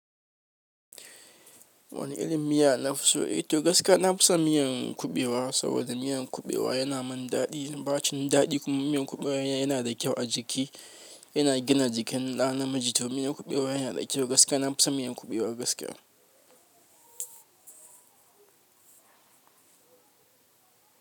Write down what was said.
Wani irin miya nafi so? Eh to gaskiya nafi so miyan kuɓewa saboda miyan kuɓewa yana min daɗi. Ba cin daɗi kuma miyan kuɓewa yana da kyau a jiki. Yana gina jikin ɗa namiji to miyar kuɓewa yana da kyau gaskiya nafi son miyar kuɓewa gaskiya.